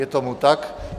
Je tomu tak.